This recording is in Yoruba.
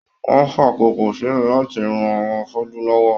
Wọn n fàkókò sílẹ láti ràn àwọn afọju lọwọ.